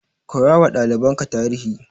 Koyawa ɗalibanka tarihi.